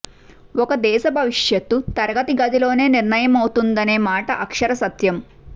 ఒక దేశ భవిష్యత్తు తరగతి గదుల్లోనే నిర్ణయమవుతుందనే మాట అక్షరసత్యం